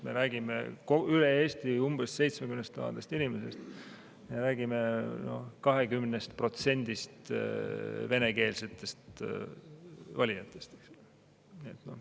Me räägime üle Eesti umbes 70 000 inimesest, räägime 20%‑st venekeelsetest valijatest.